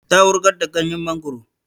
Ta wurgar da ganyen mangoro